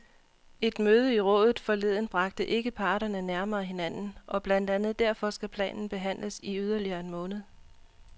Et møde i rådet forleden bragte ikke parterne nærmere hinanden, og blandt andet derfor skal planen behandles i yderligere en måned.